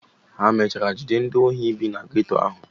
ha mechara jide ndị ohi bi na geto ahụ?